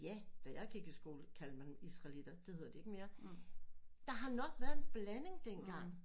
Ja da jeg gik i skole kaldte man israeliter det hedder det ikke mere der har nok været en blanding dengang